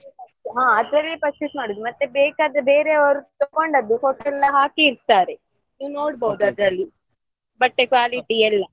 ಹಾ ಅದ್ರಲ್ಲೇ purchase ಮಾಡುದು ಮತ್ತೆ ಬೇಕಾದ್ರೆ ಬೇರೆಯವರು ತಕ್ಕೊಂಡದ್ದು photo ಎಲ್ಲ ಹಾಕಿರ್ತಾರೆ ನೀವು ನೋಡ್ಬೋದು ಅದ್ರಲ್ಲಿ ಬಟ್ಟೆ quality ಎಲ್ಲ.